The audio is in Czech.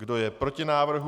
Kdo je proti návrhu?